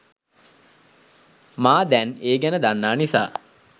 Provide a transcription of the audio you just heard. මම දැන් ඒ ගැන දන්නා නිසා